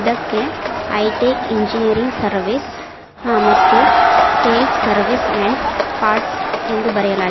ಇದಕ್ಕೆ hi tech engineering service ಹಾ ಮತ್ತು ಸೇಲ್ಸ್ ಸರ್ವೀಸ್ ಅಂಡ್ ಪಾರ್ಟ್ಸ್ ಎಂದು ಬರೆಯಲಾ--